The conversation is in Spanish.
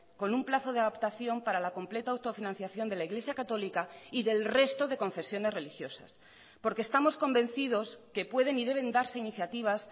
con un plazo de adaptación para la completa autofinanciación de la iglesia católica y del resto de confesiones religiosas porque estamos convencidos que pueden y deben darse iniciativas